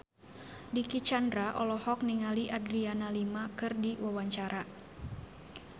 Dicky Chandra olohok ningali Adriana Lima keur diwawancara